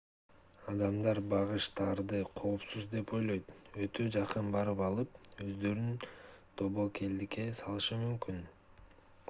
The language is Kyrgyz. адамдар багыштарды коопсуз деп ойлоп өтө жакын барып алып өздөрүн тобокелдикке салышы мүмкүн